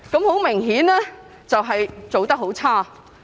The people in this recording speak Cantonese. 很明顯，政府做得很差。